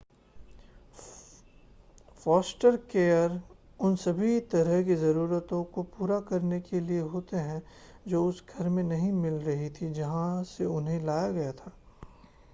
Forster care उन सभी तरह की ज़रूरतों को पूरा करने के लिए होते हैं जो उस घर में नहीं मिल रही थीं जहां से उन्हें लाया गया था